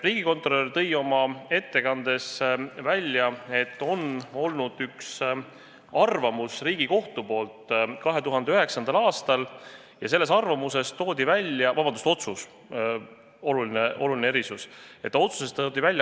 Riigikontrolör tõi oma ettekandes välja, et on olemas üks Riigikohtu arvamus 2009. aastast ja selles toodi välja – vabandust, see oli otsus, oluline erisus!